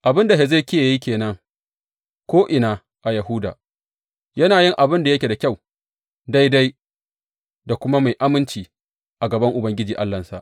Abin da Hezekiya ya yi ke nan ko’ina a Yahuda, yana yin abin da yake da kyau, daidai da kuma mai aminci a gaban Ubangiji Allahnsa.